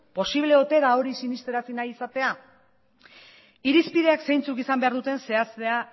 posible ote da hori sinestarazi nahi izatea irizpideak zeintzuk izan behar duten zehaztea